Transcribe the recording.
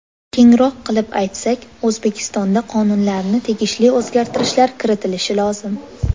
Kengroq qilib aytsak, O‘zbekistonda qonunlarga tegishli o‘zgartirishlar kiritilishi lozim.